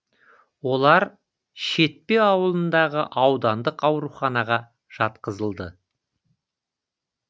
олар шетпе ауылындағы аудандық ауруханаға жатқызылды